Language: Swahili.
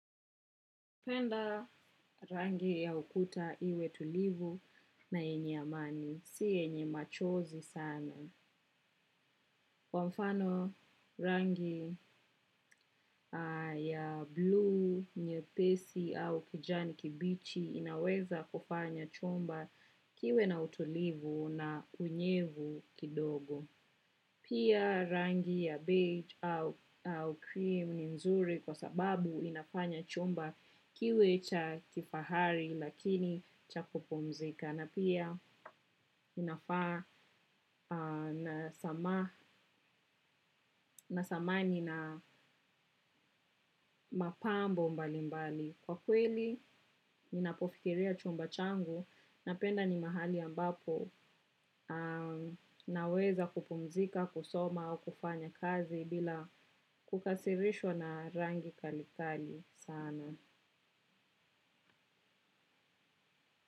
Penda rangi ya ukuta iwe tulivu na yenye amani, si yenye machozi sana. Kwa mfano rangi ya blue, nyepesi au kijani kibichi inaweza kufanya chumba kiwe na utulivu na unyevu kidogo. Pia rangi ya beige au cream ni nzuri kwa sababu inafanya chumba kiwe cha kifahari lakini cha kupumzika na pia inafaa na samani na mapambo mbali mbali. Kwa kweli, ninapofikiria chumba changu na penda ni mahali ambapo naweza kupumzika, kusoma au kufanya kazi bila kukasirishwa na rangi kali kali sana.